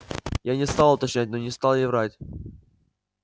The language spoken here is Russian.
я не стал уточнять но не стал и врать